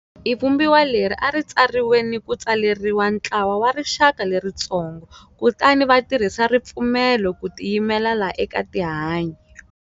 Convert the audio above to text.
I Vumbiwa leri a ri tsariwe ni ku tsaleriwa ntlawa wa rixaka leritsongo, kutani va tirhisa ripfumelo ku tiyimele la eka tihanyi.